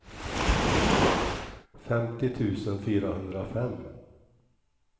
femtio tusen fyrahundrafem